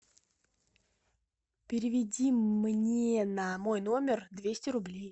переведи мне на мой номер двести рублей